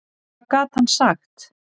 Hvað gat hann sagt?